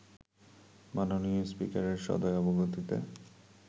মাননীয় স্পিকারের সদয় অবগতিতে